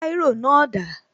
Báírò náà dà?